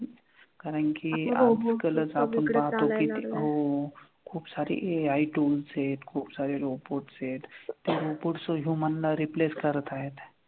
कारण कि आजकालच आपण पाहतो की ते हो. खूपसारी AI tool set खूपसारे robots आहेत. ते robots human ला replace करतायत.